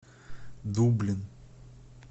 дублин